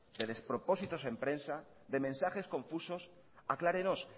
de despropósitos en prensa de mensajes confusos aclárenos